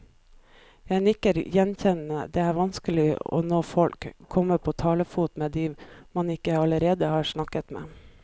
Jeg nikker gjenkjennende, det er vanskelig å nå folk, komme på talefot med de man ikke allerede har snakket med.